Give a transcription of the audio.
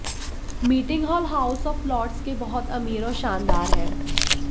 meeting hall House of Lords के बहुत अमीर और शानदार है